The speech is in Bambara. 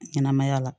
Ɲɛnɛmaya la